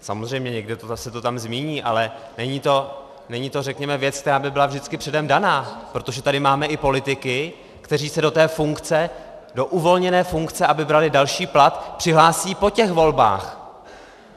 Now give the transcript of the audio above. Samozřejmě někde se to tam zmíní, ale není to řekněme věc, která by byla vždycky předem daná, protože tady máme i politiky, kteří se do té funkce, do uvolněné funkce, aby brali další plat, přihlásí po těch volbách.